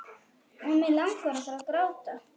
Og mig langar að gráta.